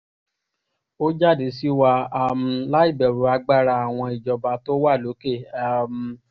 ó jáde sí wa um láì bẹ̀rù agbára àwọn ìjọba tó wà lókè um